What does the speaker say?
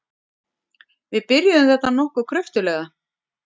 Við byrjuðum þetta nokkuð kröftuglega.